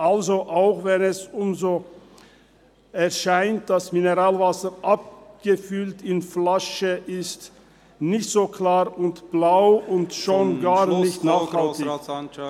Also, auch wenn es uns so erscheint: Mineralwasser – abgefüllt in Flaschen – ist nicht so klar und «blau» und schon gar nicht nachhaltig.